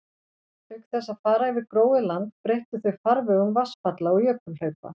Auk þess að fara yfir gróið land breyttu þau farvegum vatnsfalla og jökulhlaupa.